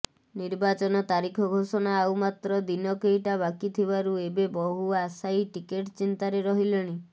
ନିର୍ବାଚନ ତାରିଖ ଘୋଷଣା ଆଉ ମାତ୍ର ଦିନ କେଇଟା ବାକିଥିବାରୁ ଏବେ ବହୁ ଆଶାୟୀ ଟିକେଟ ଚିନ୍ତାରେ ରହିଲେଣି